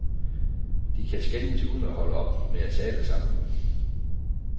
De kan skændes uden at holde op med at tale sammen.